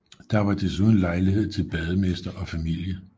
Der var desuden lejlighed til bademester og familie